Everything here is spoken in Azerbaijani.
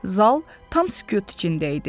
Zal tam sükut içində idi.